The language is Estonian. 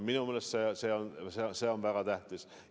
Minu meelest see on väga tähtis.